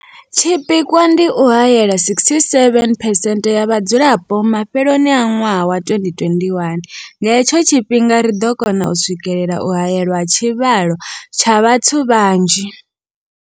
Tshipikwa ndi u haela 67 percent ya vhadzulapo mafheloni a ṅwaha wa 2021. Nga he tsho tshifhinga ri ḓo kona u swikelela u haelwa ha tshivhalo tsha vhathu vhanzhi.